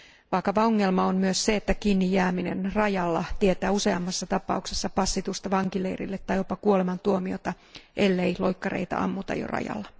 Vakava ongelma on myös se, että kiinnijääminen rajalla tietää useammissa tapauksissa passitusta vankileirille tai jopa kuolemantuomiota, ellei loikkareita ammuta jo rajalla.